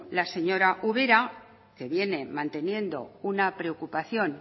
la señora ubera que viene manteniendo una preocupación